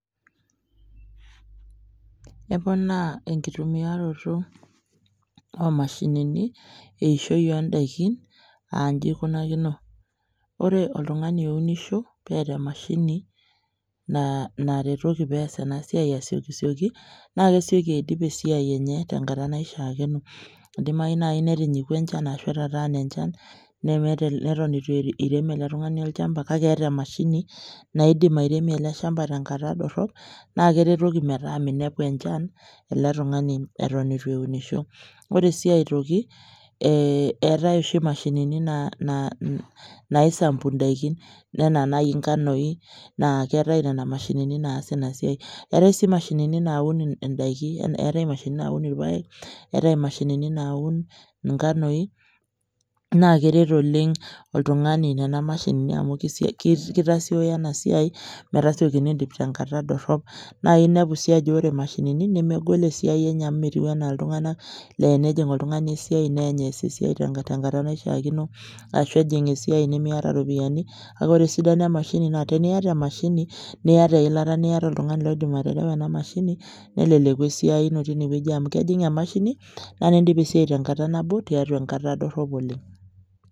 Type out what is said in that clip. Eponaa enkitumiaroto oomashinini eishoi oondaikin [aa] inji eikunakino: ore oltung'ani ounisho peata emashini naa naretoki peas enasiai asiokisioki naakesioki aidip esiai enye tenkata naishaakeno. Eidimayu nai netikua encha ashu etataana enchan nemeeta, newuen eitu eirem ele tung'ani olchamba kakeeta emashini naakeidim airemie ele  shamba tenkata dorrop naakeretoki metaa meinepu enchan ele tung'ani eton eitu eunisho. Ore sii aitoki ee eetai oshi imashinini naaisampu indaikin anaa nai inganoi naaketai nena mashinini naa ina siai. Eetai sii mashinini naaun indaiki eetai imashinini naun ilpaek, eetai imashinini naun inganoi naakeret oleng' oltung'ani nena mashinini amu keitasioyo ena siai metasiokini aidip tenkata dorrop. Naainepu sii ajo ore mashinini nemegol esiai enye amu metiu anaa iltung'ana leeanijing' oltung'ani esiai neany eas esiai tenkata naishiaakino ashu ejing' esiai nimiata ropiani kake ore esidano emashini naa teniata emashini niata eilata niata oltung'ani loidim aterewa ena mashini neleleku esiai tinewueji amu kejing' emashini naa nindip esiai tenkata nabo tiatua ekata dorrop oleng'.